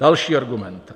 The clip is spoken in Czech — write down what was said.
Další argument.